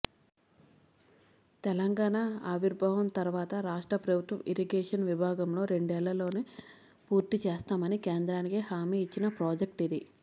తెలంగాణ ఆవిర్భావం తర్వాత రాష్ట్ర ప్రభుత్వం ఇరిగేషన్ విభాగంలో రెండేళ్లలోనే పూర్తిచేస్తామని కేంద్రానికి హామీ ఇచ్చిన ప్రాజెక్ట్ ఇది